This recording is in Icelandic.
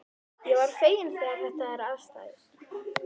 Ég verð feginn þegar þetta er afstaðið.